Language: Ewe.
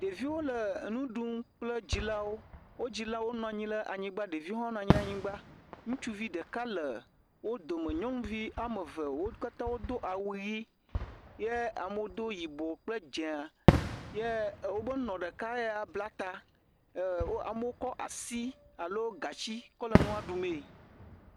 ɖeviwo le enu ɖum kple wó dzilawo wó dzilawo nɔnyi la nyigbã ɖeviwo hã nɔnyi la nyigbã ŋutsuvi ɖeka le wó dome nyɔŋuvi ameve wókatã wodó awu yi ye amowo do yibɔ kple dzēa ye wobe nɔ ɖeka ya bla ta e amowo kɔ asi alo gatsi kɔ le ŋua ɖumee